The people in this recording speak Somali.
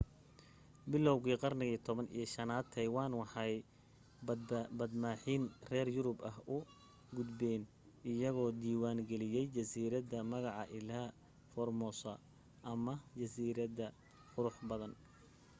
bilowgii qarnigii 15-aad taiwan waxay badmaaxiin reer yurub ah u gudbeen iyagoo diiwaan geliyay jasiiradda magaca ilha formosa ama jasiiradda qurux badan